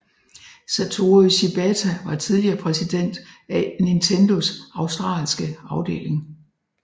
Satoru Shibata var tidligere præsident af Nintendos australske afdeling